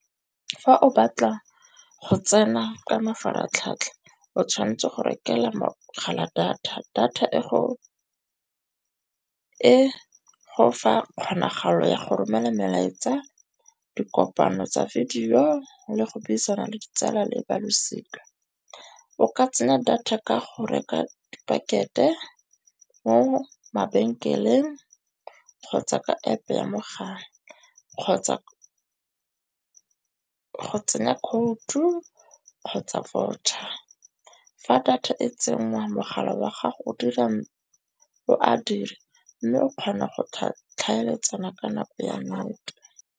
Fa o batla go tsena ka mafaratlhatlha o tshwantse go rekelwa mogala data. Data e go fa kgonagalo ya go romela melaetsa, dikopano tsa video le go buisana le ditsala le ba losika. O ka tsena data ka go reka pakete mo mabenkeleng kgotsa ka App-e ya mogala, kgotsa go tsenya code-u kgotsa voucher. Fa data e tsenngwa, mogala wa gago o a dira mme o kgona go tlhaeletsana ka nako ya nnete.